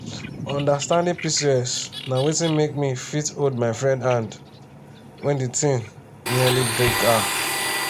understanding pcos na wetin make me fit hold my friend hand when di thing nearly break her.